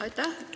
Aitäh!